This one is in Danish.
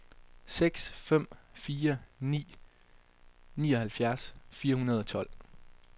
seks fem fire ni nioghalvfjerds fire hundrede og tolv